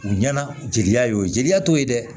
U ɲɛna jeliya y'o ye jeliya t'o ye dɛ